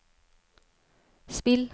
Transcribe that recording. spill